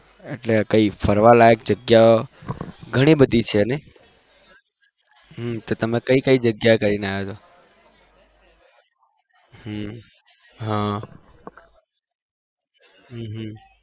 એટલે કઈ ફરવા લાયક જગ્યા ગણી બધી છ ને તો તમે કઈ જગ્યા પર જઈ ને આવ્યા છો